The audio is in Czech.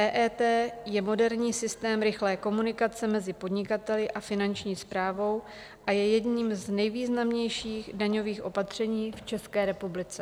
EET je moderní systém rychlé komunikace mezi podnikateli a Finanční správou a je jedním z nejvýznamnějších daňových opatření v České republice.